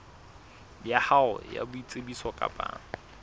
ya hao ya boitsebiso kapa